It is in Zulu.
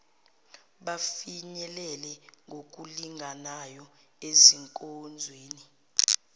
bafinyelele ngokulinganayo ezinkonzweni